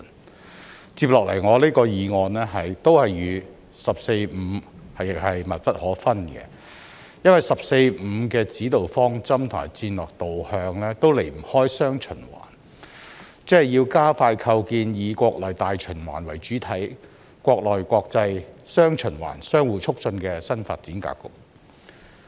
我接下來的議案亦與"十四五"密不可分，因為"十四五"的指導方針和戰略導向都離不開"雙循環"，即是要加快構建以國內大循環為主體、國內國際"雙循環"相互促進的新發展格局。